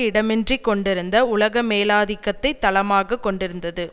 இடமின்றிக் கொண்டிருந்த உலகமேலாதிகத்தை தளமாக கொண்டிருந்தது